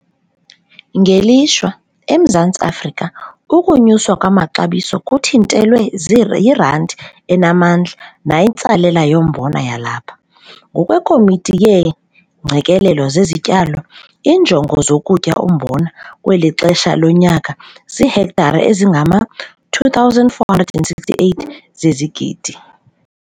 Ngelishwa, eMzantsi Afrika, ukunyuswa kwamaxabiso kuthintelwe yirandi enamandla nayintsalela yombona yalapha. NgokweKomiti yeeNgqikelelo zeziTyalo, iinjongo zokutyala umbona kweli xesha lonyaka ziihektare ezingama-2 468 zezigidi.